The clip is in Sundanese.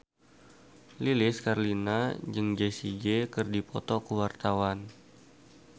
Lilis Karlina jeung Jessie J keur dipoto ku wartawan